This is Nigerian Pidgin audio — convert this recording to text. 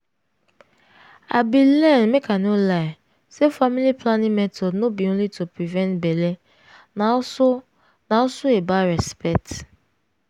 i bin learn make i no lie say family planning method no be only to prevent belle na also na also about respect.